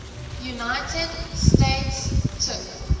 united states took